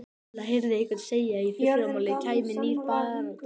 Lilla heyrði einhvern segja að í fyrramálið kæmi nýr bátur.